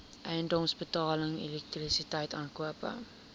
eiendomsbelasting elektrisiteit aankope